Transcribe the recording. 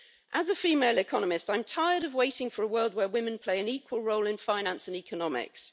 As a female economist, I'm tired of waiting for a world where women play an equal role in finance and economics.